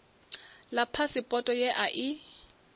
ḽa phasipoto ye a i